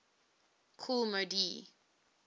kool moe dee